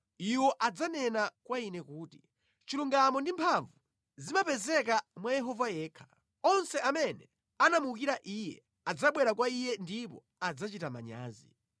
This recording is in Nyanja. Iwo adzanene kwa Ine kuti, ‘Chilungamo ndi mphamvu zimapezeka mwa Yehova yekha.’ ” Onse amene anamuwukira Iye adzabwera kwa Iye ndipo adzachita manyazi.